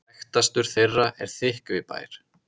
Þekktastur þeirra er Þykkvibær.